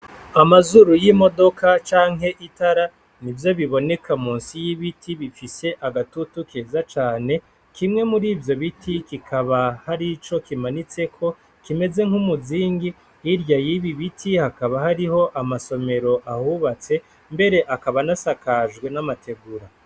Amazuru y'imodoka canke y'itara n'ivyo biboneka munsi y'ibiti bifise agatutu keza cane, kimwe murivyo biti kikaba harico kimanitseko kimeze nk'umuzingi, hirya yibi biti hakaba hariho amasomero ahubatse mbere akaba anasakajwe n'amategura.